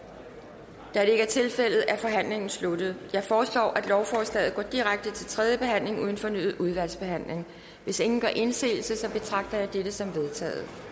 der er ikke er tilfældet er forhandlingen sluttet jeg foreslår at lovforslaget går direkte til tredje behandling uden fornyet udvalgsbehandling hvis ingen gør indsigelse betragter jeg dette som vedtaget